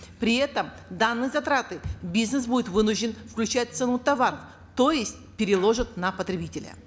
при этом данные затраты бизнес будет вынужден включать в цену товаров то есть переложит на потребителя